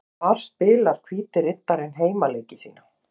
Hvar spilar Hvíti Riddarinn heimaleiki sína?